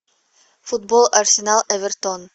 футбол арсенал эвертон